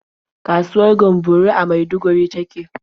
Kasuwar Gamburo a Maiduguri ta ke.